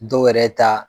Dɔw yɛrɛ ta